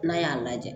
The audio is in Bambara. N'a y'a lajɛ